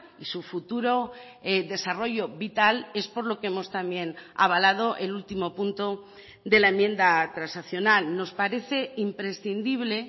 y su futuro desarrollo vital es por lo que hemos también avalado el último punto de la enmienda transaccional nos parece imprescindible